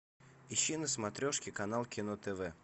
ищи на смотрешке канал кино тв